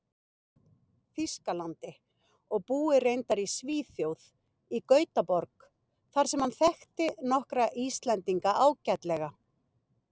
Þýskalandi, og búi reyndar í Svíþjóð, í Gautaborg, þar sem hann þekki nokkra Íslendinga ágætlega.